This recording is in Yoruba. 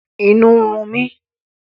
Inú ń run mi